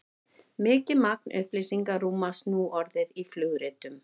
mikið magn upplýsinga rúmast nú orðið í flugritum